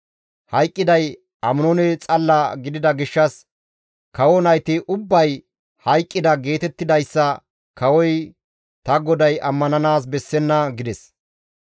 Hayqqiday Aminoone xalla gidida gishshas, ‹Kawo nayti ubbay hayqqida› geetettidayssa kawoy ta goday ammananaas bessenna» gides.